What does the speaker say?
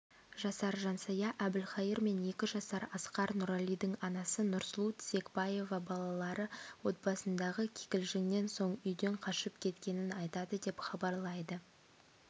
жасар жансая әбілхайыр мен екі жасар асқар нұралидың анасы нұрсұлу тізекбаева балалары отбасындағы кикілжіңнен соң үйден қашып кеткенін айтады деп хабарлайды